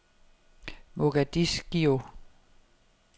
Mogadiscio